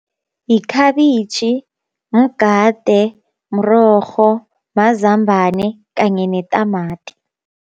Yikhabitjhi, mgade, mrorho, mazambane kanye netamati.